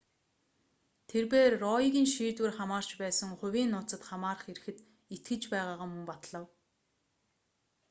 тэрбээр роегийн шийдвэр хамаарч байсан хувийн нууцад хамаарах эрхэд итгэж байгаагаа мөн батлав